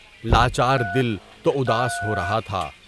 لاچار دل تو اُداس ہو رہا تھا۔